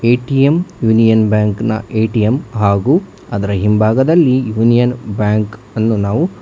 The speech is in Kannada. ಎ_ಟಿ_ಎಮ್ ಯುನಿಯನ್ ಬ್ಯಾಂಕ್ ನ ಎ ಟಿ ಎಮ್ ಹಾಗು ಅದರ ಹಿಂಭಾಗದಲ್ಲಿ ಯೂನಿಯನ್ ಬ್ಯಾಂಕ್ ಅನ್ನು ನಾವು--